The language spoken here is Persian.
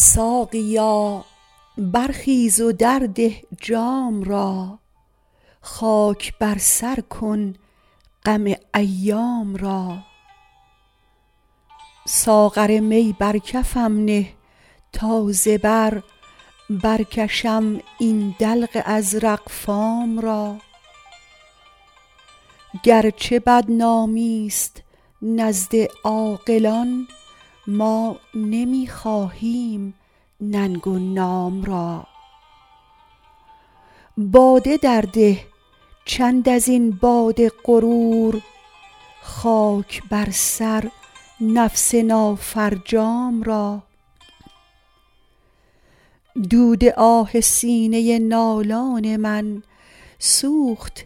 ساقیا برخیز و درده جام را خاک بر سر کن غم ایام را ساغر می بر کفم نه تا ز بر برکشم این دلق ازرق فام را گرچه بدنامی ست نزد عاقلان ما نمی خواهیم ننگ و نام را باده درده چند از این باد غرور خاک بر سر نفس نافرجام را دود آه سینه نالان من سوخت